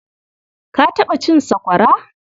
Ka taɓa cin sakwara?